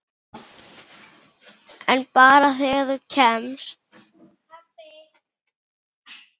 En bara þegar þú kemst.